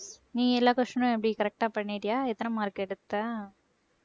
நீ எல்லா question னும் எப்படி correct ஆ பண்ணிட்டியா எத்தனை mark எடுத்த